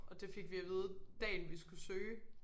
Og det fik vi at vide dagen vi skulle søge